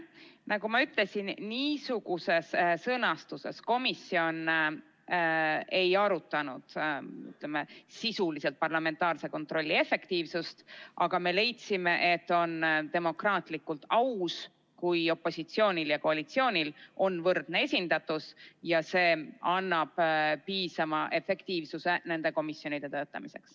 Nagu ma ütlesin, niisuguses sõnastuses komisjon ei arutanud, ütleme, sisuliselt parlamentaarse kontrolli efektiivsust, aga me leidsime, et on demokraatlikult aus, kui opositsioonil ja koalitsioonil on võrdne esindatus, sest see annab piisava efektiivsuse nende komisjonide töötamiseks.